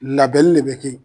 Labɛni ne be kɛ ye